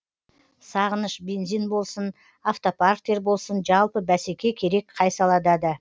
сағыныш бензин болсын автопарктер болсын жалпы бәсеке керек қай салада да